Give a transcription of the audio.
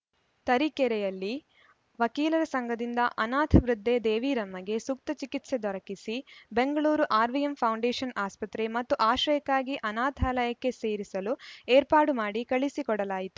ತರೀಕೆರೆಯಲ್ಲಿ ವಕೀಲರ ಸಂಘದಿಂದ ಅನಾಥ ವೃದ್ಧೆ ದೇವೀರಮ್ಮಗೆ ಸೂಕ್ತ ಚಿಕಿತ್ಸೆ ದೊರಕಿಸಿ ಬೆಂಗಳೂರು ಆರ್‌ವಿಎಂ ಫೌಂಡೇಶನ್‌ ಆಸ್ಪತ್ರೆ ಮತ್ತು ಆಶ್ರಯಕ್ಕಾಗಿ ಆನಾಥಾಲಯಕ್ಕೆ ಸೇರಿಸಲು ಏರ್ಪಾಡು ಮಾಡಿ ಕಳಿಸಿ ಕೊಡಲಾಯಿತು